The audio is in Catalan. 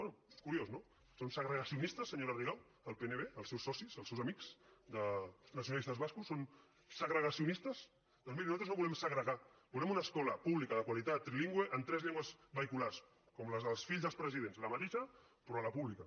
bé és curiós no són segregacionistes senyora rigau el pnb els seus socis els seus amics els nacionalistes bascos són segregacionistes doncs miri nosaltres no volem segregar volem una escola pública de qualitat trilingüe en tres llengües vehiculars com les dels fills dels presidents la mateixa però a la pública